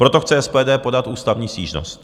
Proto chce SPD podat ústavní stížnost.